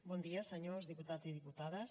bon dia senyors diputats i diputades